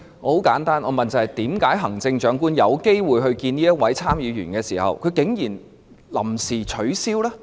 很簡單，我問的是為何行政長官有機會與這位參議員會面，但竟然臨時取消？